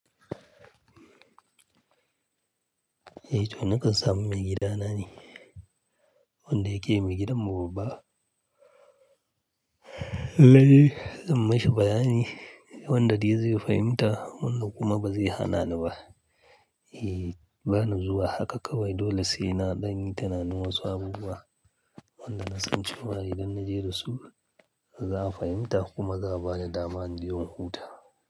Eh to nakan samu maigidana ne, wanda yake maigidan mu babba. Lallai zan mashi bayani wanda dai zai fahimta wannan kuma ba zai hana ni ba. Eh ba ni zuwa haka kawai dole sai na ɗan yi tunanin wasu abubuwa. Wanda na san cewa idan na je dasu za a fahimta kuma za a ba ni dama in je in huta.